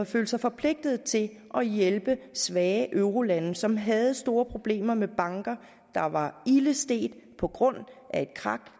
følt sig forpligtet til at hjælpe svage eurolande som havde store problemer med banker der var ilde stedt på grund af et krak